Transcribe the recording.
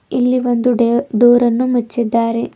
ಇಲ್ಲಿ ಒಂದು ಡೆರ್ ಡೋರ್ ಅನ್ನು ಮುಚ್ಚಿದಾರೆ.